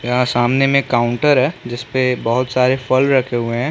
यहाँ सामने में एक काउंटर है जिसपे बहोत सारे फल रखे हुए है ।